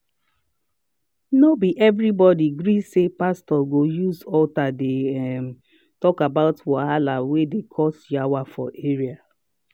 no be everybody gree say pastor go use altar dey um talk about wahala wey dey cause yawa for area um